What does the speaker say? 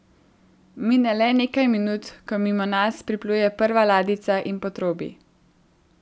Mine le nekaj minut, ko mimo nas pripluje prva ladjica in potrobi.